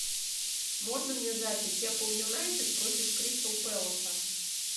можно мне запись апл юнайтед против кристал пэласа